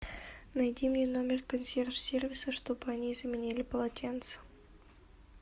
найди мне номер консьерж сервиса чтобы они заменили полотенца